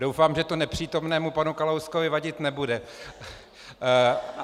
Doufám, že to nepřítomnému panu Kalouskovi vadit nebude.